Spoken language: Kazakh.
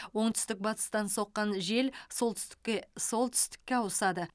оңтүстік батыстан соққан жел солтүстіке солтүстікке ауысады